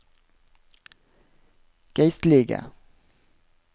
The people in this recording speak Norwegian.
geistlige